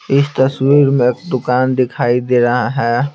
इस तस्वीर में एक दुकान दिखाई दे रहा है।